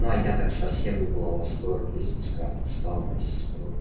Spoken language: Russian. ну а я так совсем не была бы в восторге если бы скарлетт стала моей сестрой